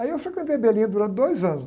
Aí eu frequentei a durante dois anos.